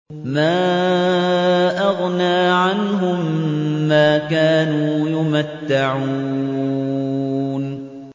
مَا أَغْنَىٰ عَنْهُم مَّا كَانُوا يُمَتَّعُونَ